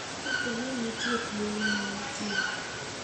Kapo ni nitie thuolo ma nitie,